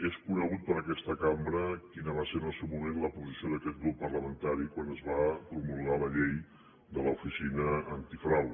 és conegut per aquesta cambra quina va ser en el seu moment la posició d’aquest grup parlamentari quan es va promulgar la llei de l’oficina antifrau